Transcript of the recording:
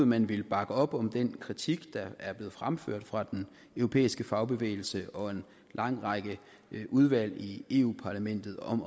man ville bakke op om den kritik der er blevet fremført fra den europæiske fagbevægelse og en lang række udvalg i i europa parlamentet om